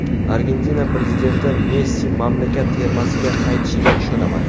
Argentina prezidenti: Messi mamlakat termasiga qaytishiga ishonaman.